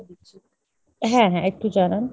হ্যাঁ হ্যাঁ একটু জানান।